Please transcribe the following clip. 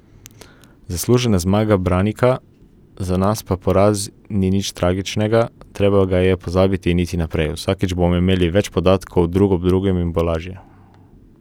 Zaslužena zmaga Branika, za nas pa poraz ni nič tragičnega, treba ga je pozabiti in iti naprej, vsakič bomo imeli več podatkov drug o drugem in bo lažje.